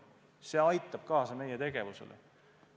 See aitab meie tegevusele kaasa.